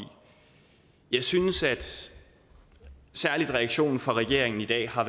jeg synes at særlig reaktionen fra regeringen i dag har